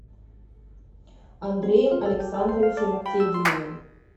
андреем александровичем тедеевым